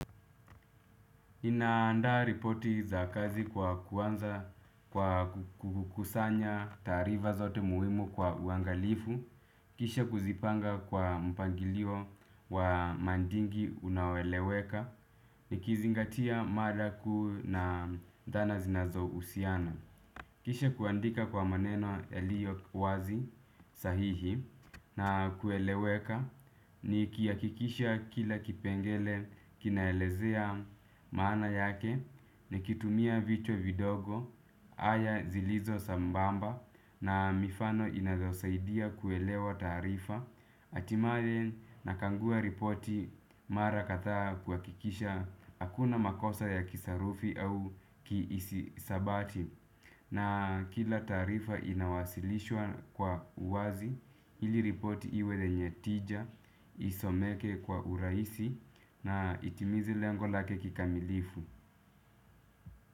Naanda ripoti za kazi kwa kuanza kukusanya tarifa zote muhimu kwa uangalifu, kisha kuzipanga kwa mpangilio wa mandingi unaoeleweka, nikizingatia mada kuu na dhana zinazohusiana. Kisha kuandika kwa maneno yaliyo wazi sahihi na kueleweka nikihakikisha kila kipengele kinaelezea maana yake nikitumia vichwa vidogo aya zilizo sambamba na mifano inazosaidia kuelewa tarifa hatimaye, nakagua ripoti mara kadhaa kuhakikisha hakuna makosa ya kisarufi au kihisabati. Na kila tarifa inawasilishwa kwa uwazi. Ili ripoti iwe lenye tija isomeke kwa urahisi na itimize lengo lake kikamilifu.